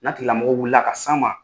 N'a tikilamɔgɔ wulila ka s'an ma